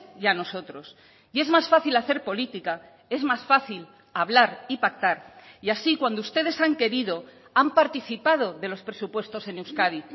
y a nosotros y es más fácil hacer política es más fácil hablar y pactar y así cuando ustedes han querido han participado de los presupuestos en euskadi